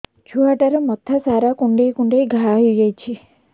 ଛୁଆଟାର ମଥା ସାରା କୁଂଡେଇ କୁଂଡେଇ ଘାଆ ହୋଇ ଯାଇଛି